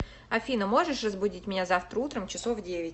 афина можешь разбудить меня завтра утром часов в девять